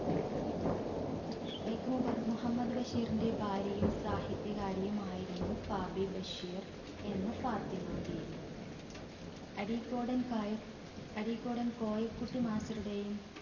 വൈക്കം മുബഹ് മുഹമ്മദ് ബഷീറിന്റെ ഭാര്യയും സാഹിത്യകാരിയുമായിരുന്നു ഫാബി ബഷീർ എന്ന ഫാത്തിമ ബീവി. അരീക്കോടൻ കായ അരീക്കോടൻ കോയക്കുട്ടി master ഉടെയും